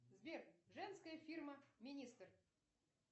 сбер женская фирма министр